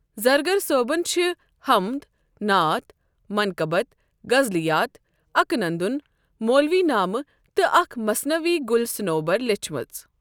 زرگر صأبَن چھ، حمد، نعت، منقبت، غزلیات، اکہٕ نندُن، مولوی نامہٕ تہٕ اَکھ مثنوی گُل صنوبر، لیچھمٕژ۔